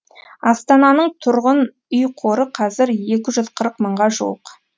астананың тұрғын үй қоры қазір екі жүз қырық мыңға жуық